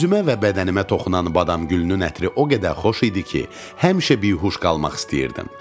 Üzümə və bədənimə toxunan badamgülünün ətri o qədər xoş idi ki, həmişə bihuş qalmaq istəyirdim.